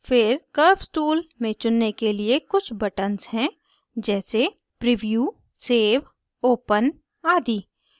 फिर curves tool में चुनने के लिए कुछ buttons हैं जैसे preview save open आदि